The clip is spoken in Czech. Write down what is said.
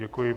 Děkuji.